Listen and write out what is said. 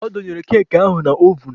Ọ dọnyere keeki ahụ na ovun.